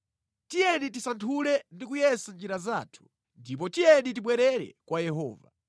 Tiyeni tisanthule ndi kuyesa njira zathu, ndipo tiyeni tibwerere kwa Yehova.